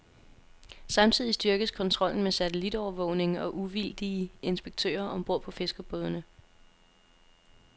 Samtidig styrkes kontrollen med satellitovervågning og uvildige inspektører om bord på fiskerbådene.